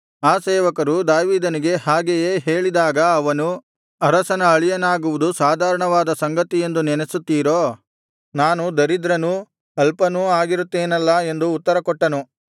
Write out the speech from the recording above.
ಆ ಸೇವಕರು ದಾವೀದನಿಗೆ ಹಾಗೆಯೇ ಹೇಳಿದಾಗ ಅವನು ಅರಸನ ಅಳಿಯನಾಗುವುದು ಸಾಧಾರಣವಾದ ಸಂಗತಿಯೆಂದು ನೆನಸುತ್ತೀರೋ ನಾನು ದರಿದ್ರನೂ ಅಲ್ಪನೂ ಆಗಿರುತ್ತೆನಲ್ಲಾ ಎಂದು ಉತ್ತರ ಕೊಟ್ಟನು